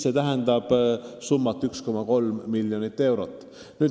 See tähendab summat 1,3 miljonit eurot.